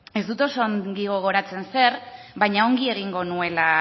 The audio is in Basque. ez dut oso ongi gogoratzen zer baina ongi egingo nuela